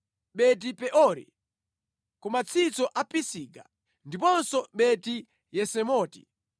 Beti-Peori, ku matsitso a Pisiga, ndiponso Beti-Yesimoti.